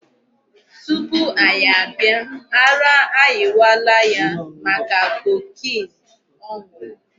Tupu anyị abịa ara ayịwala ya maka cocaine ọ nụrụ.